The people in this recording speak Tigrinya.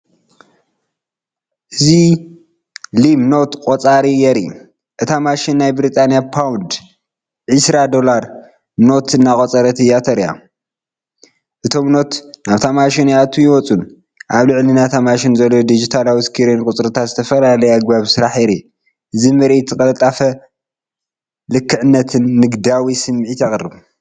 እዚ ሊም ኖት ቆጻሪ የርኢ። እታ ማሽን ናይ ብሪጣንያ ፓውንድ (£20) ኖት እናቖጸረት እያ ተራእያ። እቶም ኖት ናብታ ማሽን ይኣትዉን ይወጹን። ኣብ ላዕሊ ናይቲ ማሽን ዘሎ ዲጂታላዊ ስክሪን ቁጽርታትን ዝተፈላለየ ኣገባብ ስራሕን የርኢ። እዚ ምርኢት ቅልጣፈ፡ልክዕነትን ንግዳዊ ስምዒትን የቕርብ።